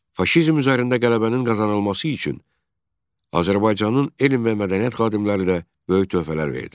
Faşizm üzərində qələbənin qazanılması üçün Azərbaycanın elm və mədəniyyət xadimləri də böyük töhfələr verdilər.